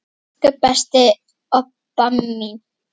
Elsku besta Obba mín.